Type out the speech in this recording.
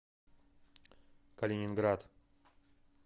калининград